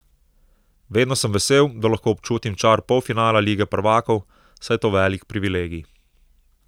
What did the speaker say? Vedno sem vesel, da lahko občutim čar polfinala lige prvakov, saj je to velik privilegij.